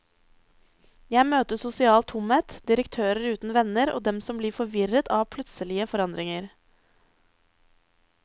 Jeg møter sosial tomhet, direktører uten venner og dem som blir forvirret av plutselige forandringer.